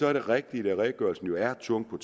er det rigtigt at redegørelsen jo er tung når